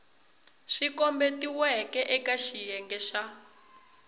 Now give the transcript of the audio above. swi kombetiweke eka xiyenge xa